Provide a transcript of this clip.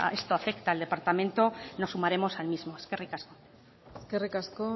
esto afecta al departamento nos sumaremos al mismo eskerrik asko eskerrik asko